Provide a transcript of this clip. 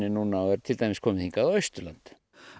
núna og er til dæmis komið hingað á Austurland